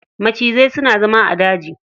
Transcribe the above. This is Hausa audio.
Macizai suna zama a daji.